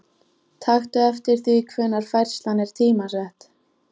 Taktu eftir því hvenær færslan er tímasett.